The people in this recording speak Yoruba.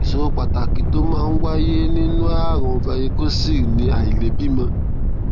ìṣòro pàtàkì tó máa ń wáyé nínú ààrùn varicocele ni àìlèbímọ